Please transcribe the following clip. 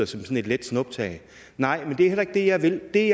sådan et let snuptag nej men det er heller ikke det jeg vil det